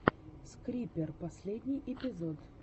скрипер последний эпизод